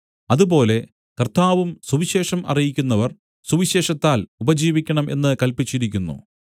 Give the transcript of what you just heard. അതുപോലെ കർത്താവും സുവിശേഷം അറിയിക്കുന്നവർ സുവിശേഷത്താൽ ഉപജീവിക്കണം എന്ന് കല്പിച്ചിരിക്കുന്നു